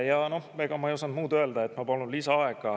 Ja ega ma ei osanud muud öelda, et ma palun lisaaega.